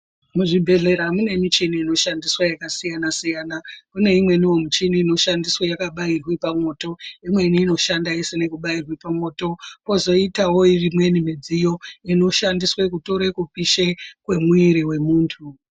Muzvibhehlera mune michini inoshandiswa yakasiyana -siyana. Mune imweniwo michini inoshandiswa yakabairwe pamwoto, imweni inoshanda isina kubairwe pamwoto pozoitawo imweni midziyo inoshandiswe kutore kupishe kwemwiri wemuntu.